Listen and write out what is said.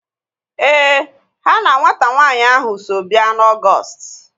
Éè, ha na nwata nwanyị ahu so bịa na Ọgọọst